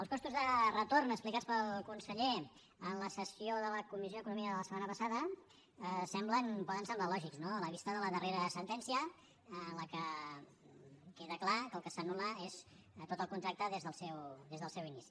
els costos de retorn explicats pel conseller en la sessió de la comissió d’economia de la setmana passada poden semblar lògics no a la vista de la darrera sentència en què queda clar que el que s’anul·la és tot el contracte des del seu inici